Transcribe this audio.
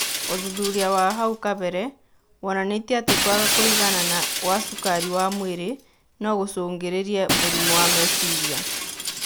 ũthuthuria wa hau kabere wonanĩtie atĩ kwaga kũiganana kwa cukari wa mwĩrĩ nogũcũngĩrĩrie mũrimũ wa meciria